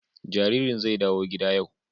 Jaririn zai dawo gida yau